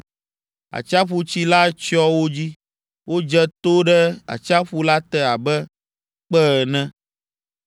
Atsiaƒutsi la tsyɔ wo dzi. Wodze to ɖe atsiaƒu la te abe kpe ene.